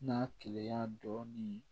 N'a keleya dɔɔnin